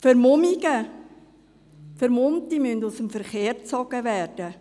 Vermummte müssen aus dem Verkehr gezogen werden.